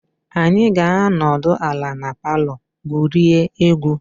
Anyị ga-anọdụ ala na palọ gwurie egwu.